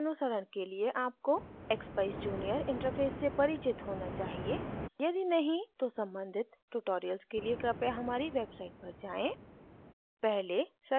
इस tutorial के अनुसरण के लिए आपको expeyes junior interface से परिचित होना चाहिए यदि नहीं तो सम्बंधित tutorials के लिए कृपया हमारी website पर जाएँ